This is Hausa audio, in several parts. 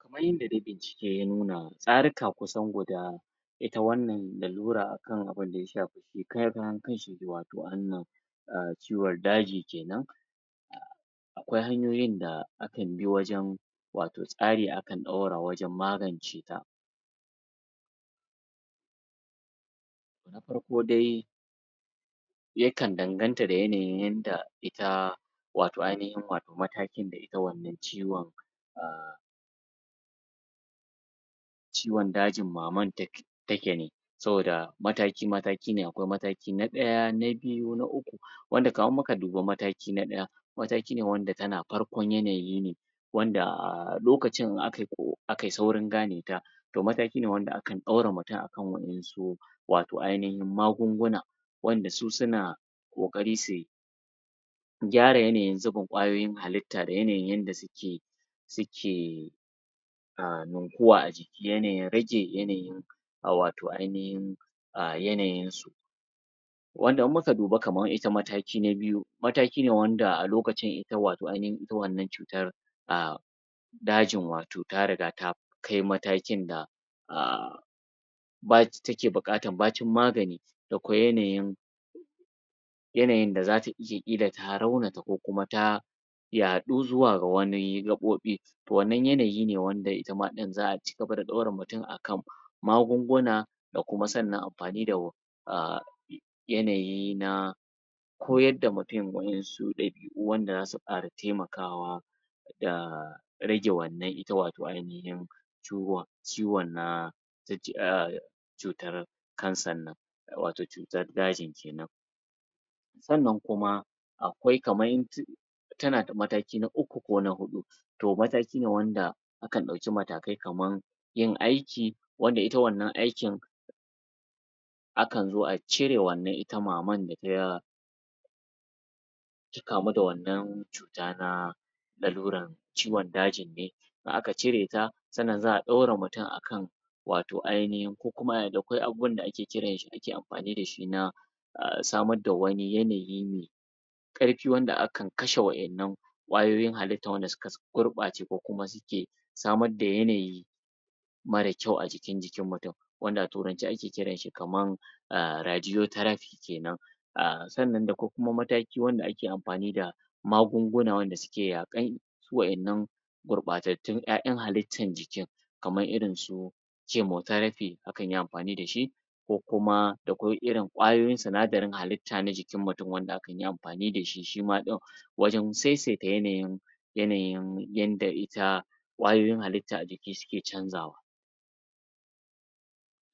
Kamar yadda dai bincike ya nuna tsaruka kusan guda ita wannan lalura akan abinda ya shafi shi karan kanshi wato ciwon daji kenan akwai hanyoyin da akan bi wajen wato tsari akan ɗaura wajen magance ta na farko dai yakan danganta da yanayin yadda ita wato ainahin wato matakin da ita wannan ciwon a ciwon dajin maman take ne saboda mataki-mataki ne akwai mataki na ɗaya na biyu na uku wanda in muka dubi mataki na ɗaya mataki ne wanda tana farkon yanayi ne wanda lokacin in akai ƙo akai saurin gane ta to mataki ne a wanda akan ɗora mutum akan wa'yansu wato ainahin magunguna wanda su suna ƙoƙari sui gyara yanayin zubin kwayoyin halitta da yanayin yadda suke suke a ninkuwa a jiki yanayin rage yanayin wato ainahin a yanayinsu wanda in muka dubi kamar ita mataki na biyu mataki ne wanda a lokacin ita wato ainahin ita wannan cutar a dajin wato ta riga ta kai matakin da a bac take buƙatar bacin magani da kwai yanayin yanayin da za ta iya illata raunata ko kuma ta yaɗu zuwa ga wani gaɓoɓi to wannan yanayi ne wanda ita ma ɗin za a ci gaba da ɗora mutum akan magunguna da kuma sannan amfani da a yanayi na koyar da mutum wa'yansu ɗabi'u wanda za su ƙara taimakawa da rage wannan ita wato ainahin ciwon ciwon na? cutar canser wato cutar daji kenan sannan kuma akwai kamar tana da mataki na uku ko na huɗu to mataki ne wanda akan ɗauki matakai kaman yin aiki wanda ita wannan aikin akan zo a cire wannan ita maman da ta ta kamu da wannan cuta na lalurar ciwon dajin ne in aka cireta sannan za a ɗora mutum akan wato ainahin ko kuma da kwai abubuwa da ake kiran shi da ake amfani da shi na a samar da wani yanayi me ƙarfi wanda akan kashe wa'yannan kwayoyin hallitar wanda suka gurɓace ko kuma suke samar da yanayii marar kyau a cikin jikin mutum wanda a turance ake kiranshi kamar a Radiotraphy kenan a sannan da kwai kuma mataki wanda ake amfani da magungun wanda suke yaƙar su wa'yannan gurɓatattun 'ya'yan halittan jikin kamar irinsu Cimotraphy akan yi amfani da shi ko kuma da kwai irin kwayoyin sinadarin halitta na jikin mutum wanda hakan yi amfani da shi shi ma ɗin wajen seseta yanayin yanayin yanda ita kwayoyin halitta a jiki suke canzawa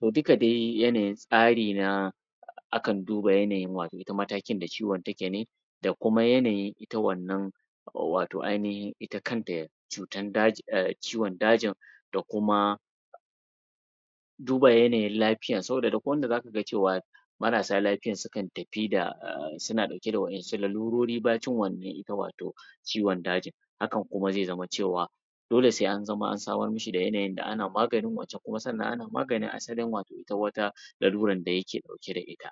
to duka dai yanayin tsari na akan duba yanayin wato ita matakin da ciwon take ne da kuma yanayin ita wannan wato ainahin ita kanta cutar daji ciwon dajin da kuma duba yanayin lafiya saboda duk wanda zaka cewa marasa lafiya sukan tafi da suna ɗauke da wa'yansu lalurori bacin wannan ita wato ciwon dajin hakan kuma zai zama cewa dole sai an zama an samar mishi da yanayin da ana maganin wancan kuma sannan ana maganin asalin wato ita wata lalurar da yake ɗauke da ita